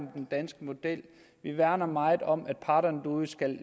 den danske model vi værner meget om at parterne derude skal